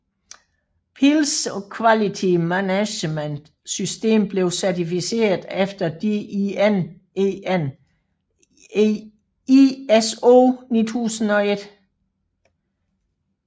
Pilz Quality Management System blev certificeret efter DIN EN ISO 9001